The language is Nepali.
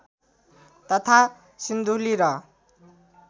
तथा सिन्धुली र